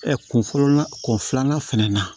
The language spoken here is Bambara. kun fɔlɔ la kun filanan fɛnɛ na